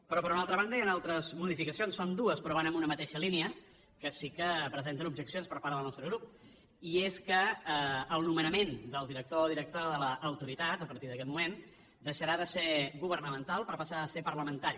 però per una altra banda hi han altres modificacions són dues però van en una mateixa línia que sí que presenten objeccions per part del nostre grup i és que el nomenament del director o directora de l’autoritat a partir d’aquest moment deixarà de ser governamental per passar a ser parlamentari